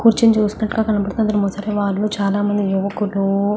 కూర్చుని చూస్తున్నట్టుగా కనబడుతున్నది ముసలి వాళ్ళు చాలా మంది యువకులు--